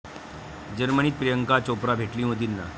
जर्मनीत प्रियांका चोप्रा भेटली मोदींना